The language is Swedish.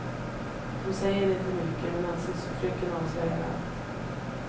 De säger inte mycket, men ansiktsuttrycken avslöjar allt.